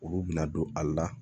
Olu bɛna don a la